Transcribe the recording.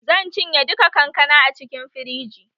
Zan cinye duka kankana a cikin firiji